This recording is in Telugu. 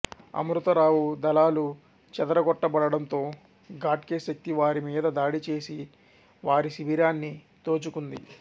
అమృత రావు దళాలు చెదరగొట్టబడడంతో ఘాట్గే శక్తి వారి మీద దాడి చేసి వారి శిబిరాన్ని దోచుకుంది